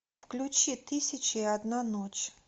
включи тысяча и одна ночь